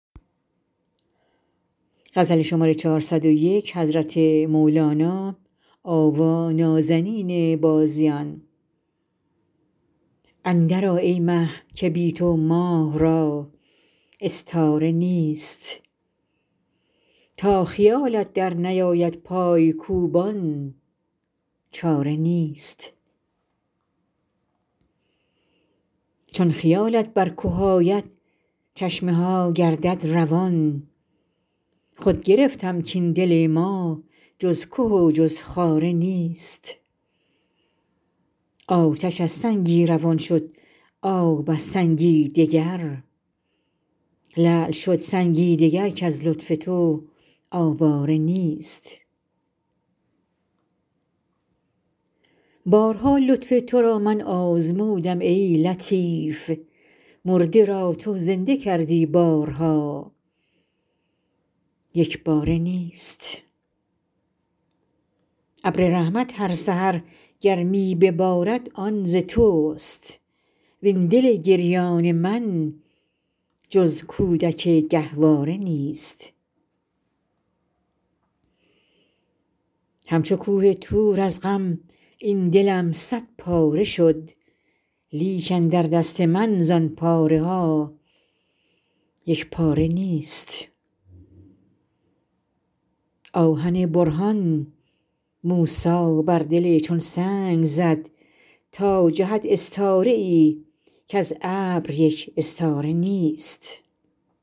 اندرآ ای مه که بی تو ماه را استاره نیست تا خیالت درنیاید پای کوبان چاره نیست چون خیالت بر که آید چشمه ها گردد روان خود گرفتم کاین دل ما جز که و جز خاره نیست آتش از سنگی روان شد آب از سنگی دگر لعل شد سنگی دگر کز لطف تو آواره نیست بارها لطف تو را من آزمودم ای لطیف مرده را تو زنده کردی بارها یک باره نیست ابر رحمت هر سحر گر می ببارد آن ز تست وین دل گریان من جز کودک گهواره نیست همچو کوه طور از غم این دلم صدپاره شد لیک اندر دست من زان پاره ها یک پاره نیست آهن برهان موسی بر دل چون سنگ زد تا جهد استاره ای کز ابر یک استاره نیست